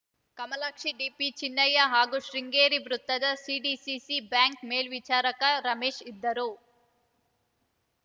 ಕಮಲಾಕ್ಷಿ ಡಿಪಿಚಿನ್ನಯ್ಯ ಹಾಗೂ ಶೃಂಗೇರಿ ವೃತ್ತದ CDCC bank ಮೇಲ್ವಿಚಾರಕ Ramesh ಇದ್ದರು